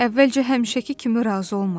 Əvvəlcə həmişəki kimi razı olmadım.